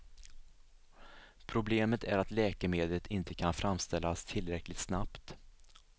Problemet är att läkemedlet inte kan framställas tillräckligt snabbt.